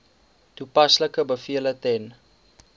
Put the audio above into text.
toepaslike bevele ten